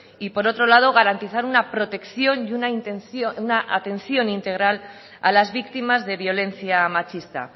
y por otro lado garantizar una protección y una intención una atención integral a las víctimas de violencia machista